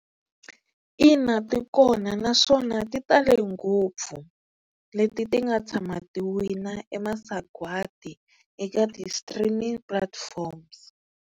Ina ti kona naswona ti tale ngopfu leti ti nga tshama ti wina e masagwati eka ti-streaming platforms.